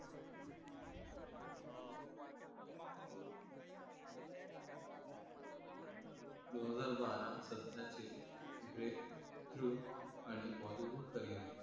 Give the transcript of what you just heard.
दोन हजार बारा सध्याचे breakthrough आणि bollywood career